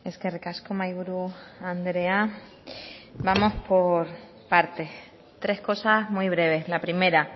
eskerrik asko mahaiburu andrea vamos por partes tres cosas muy breves la primera